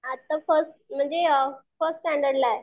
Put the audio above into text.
आता फर्स्ट म्हणजे फर्स्ट स्टँडर्डलाए.